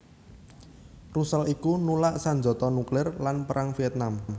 Russell iku nulak sanjata nuklir lan Perang Vietnam